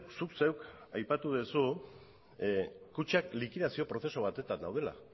zuk zeuk aipatu dezu kutxak likidazio prozesu batetan daudela